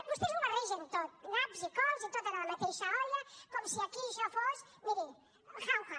vostès ho barregen tot naps i cols i tot en la mateixa olla com si aquí això fos miri jauja